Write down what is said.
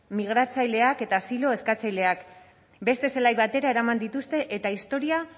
migratzaileak eta asilo eskatzaileak beste zelai batera eraman dituzte eta historia